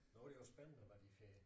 Nu det jo spændende hvad de får